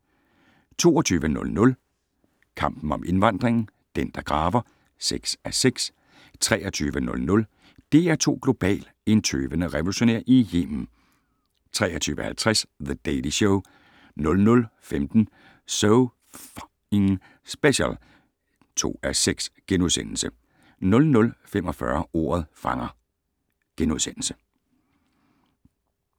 22:00: Kampen om indvandringen - "Den, der graver" (6:6) 23:00: DR2 Global: En tøvende revolutionær i Yemen 23:50: The Daily Show 00:15: So F***ing Special (2:6)* 00:45: Ordet fanger *